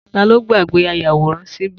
Ta ló gbàgbé ayàwòrán ṣíbí?